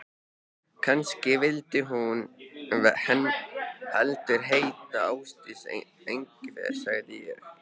Kannski vildi hún heldur heita Ásdís Engifer, sagði ég.